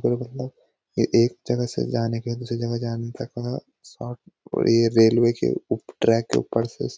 के लिए मतलब ये एक जगह से जाने के लिए दूसरी जगह जाने तक का शार्ट और ये रेलवे के उप ट्रैक के ऊपर से --